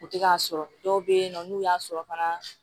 U tɛ k'a sɔrɔ dɔw bɛ yen nɔ n'u y'a sɔrɔ fana